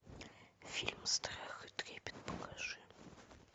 фильм страх и трепет покажи